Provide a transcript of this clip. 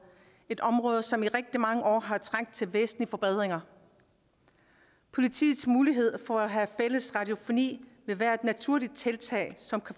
et område som i rigtig mange år har trængt til væsentlige forbedringer politiets mulighed for at have fælles radiofoni vil være et naturligt tiltag som